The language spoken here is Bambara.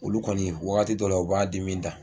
Olu kɔni waagati dɔ la u b'a di min ta.